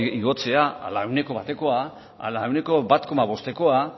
igotzea ala ehuneko batekoa ala ehuneko bat koma bostekoa